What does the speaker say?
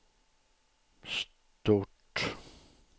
stort